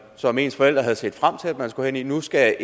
som ens forældre havde set frem til man skulle hen i nu skal